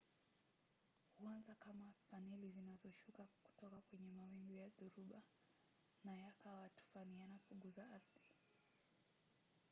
huanza kama faneli zinazoshuka kutoka kwenye mawingu ya dhoruba na yakawa tufani yanapogusa ardhi.